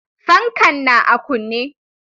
Fankan na a kunne.